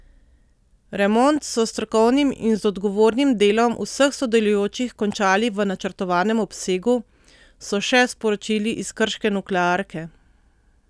Remont so s strokovnim in z odgovornim delom vseh sodelujočih končali v načrtovanem obsegu, so še sporočili iz krške nuklearke.